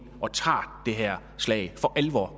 og tager det her slag